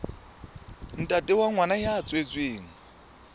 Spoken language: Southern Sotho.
ntate wa ngwana ya tswetsweng